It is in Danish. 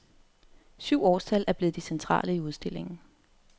Syv årstal er blevet de centrale i udstillingen.